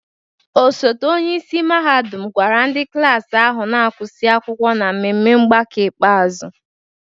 Osote onye isi mahadum gwara ndị klas ahụ na-agụsị akwụkwọ n'ememe mgbakọ ikpeazụ.